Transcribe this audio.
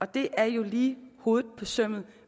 det er jo lige hovedet på sømmet